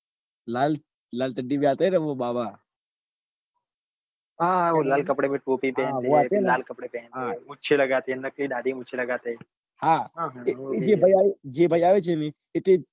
લાલ આતે હૈ નાં વો બાબા હા હા વો લાલ કપડે મેં ટોપી પહનેતે હૈ ફિર લાલ કપડે પહેંતે હૈ મૂછે લગતે હૈયે નકલી દાઢી મુછ લગતે હૈ હા એ જે ભાઈ આવે છે એ તો એક